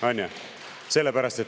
On ju?